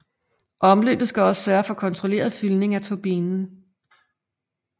Omløbet skal også sørge for kontrolleret fyldning af turbinen